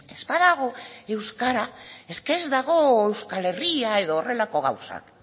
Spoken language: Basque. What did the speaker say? ez badago euskara es que ez dago euskal herria edo horrelako gauzak